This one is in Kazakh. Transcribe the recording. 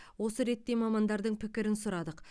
осы ретте мамандардың пікірін сұрадық